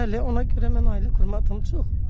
Bəli, ona görə mən ailə qurmadım.